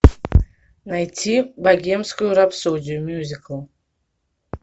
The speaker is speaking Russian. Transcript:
найти богемскую рапсодию мюзикл